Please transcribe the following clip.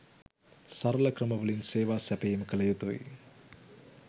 සරල ක්‍රමවලින් සේවා සැපයීම කළ යුතුයි